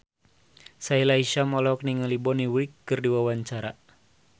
Sahila Hisyam olohok ningali Bonnie Wright keur diwawancara